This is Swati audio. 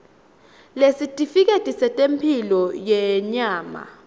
nesitifiketi setemphilo yenyama